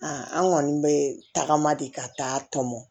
an kɔni bɛ tagama de ka taa tɔmɔ